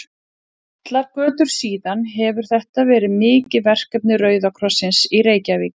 Allar götur síðan hefur þetta verið mikið verkefni Rauða krossins í Reykjavík.